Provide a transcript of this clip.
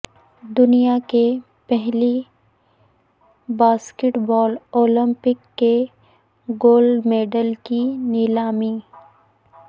دنیا کے پہلے باسکٹ بال اولمپک کے گولڈ میڈل کی نیلامی